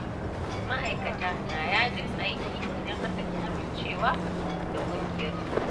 Ma’aikata na yajin aiki idan aka ƙi amincewa da ƙungiyar su.